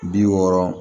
Bi wɔɔrɔ